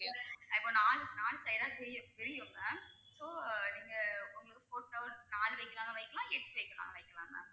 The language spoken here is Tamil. இப்ப நாலு நாலு side ஆ பிரியும் பிரியும் ma'am so நீங்க உங்களுக்கு photo நாலு வைக்கலாம்னாலும் வைக்கலாம் எட்டு வைக்கலாம்னாலும் வைக்கலாம் ma'am